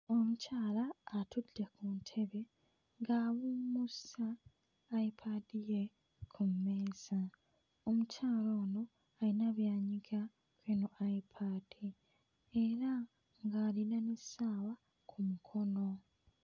Omukyala atudde ku ntebe ng'awummuza ayipaadi ye ku mmeeza, omukyala ono ayina by'anyiga ku eno ayipaadi era ng'alina n'essaawa ku mukono.